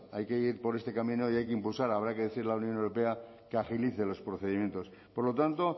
hay que ir por este camino y habrá que impulsar habrá que decirle a la unión europea que agilice los procedimientos por lo tanto